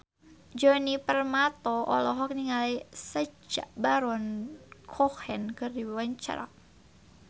Djoni Permato olohok ningali Sacha Baron Cohen keur diwawancara